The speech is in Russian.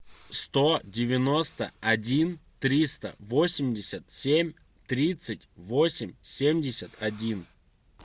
сто девяносто один триста восемьдесят семь тридцать восемь семьдесят один